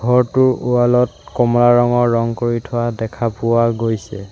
ঘৰটোৰ ৱাল ত কমৰা ৰঙৰ ৰং কৰি থোৱা দেখা পোৱা গৈছে।